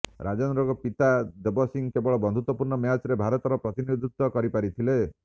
ରାଜେନ୍ଦ୍ରଙ୍କ ପିତା ଦେବ ସିଂହ କେବଳ ବନ୍ଧୁତ୍ୱପୂର୍ଣ୍ଣ ମ୍ୟାଚ୍ରେ ଭାରତର ପ୍ରତିନିଧିତ୍ୱ କରି ପାରିଥିଲେ